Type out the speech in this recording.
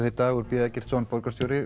Dagur b Eggertsson borgarstjóri